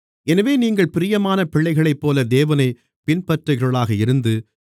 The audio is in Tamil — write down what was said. எனவே நீங்கள் பிரியமான பிள்ளைகளைப்போல தேவனைப் பின்பற்றுகிறவர்களாக இருந்து